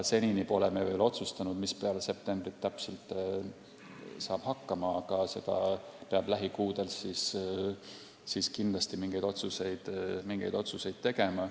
Senini me pole veel otsustanud, mis täpselt peale septembrit saab, aga lähikuudel peab kindlasti mingeid otsuseid tegema.